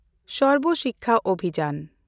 ᱥᱚᱨᱵᱚ ᱥᱤᱠᱠᱷᱟ ᱚᱵᱷᱤᱡᱟᱱ